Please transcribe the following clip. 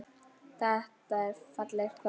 Þetta er fallegt kvöld.